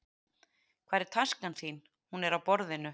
Hvar er taskan þín? Hún er á borðinu.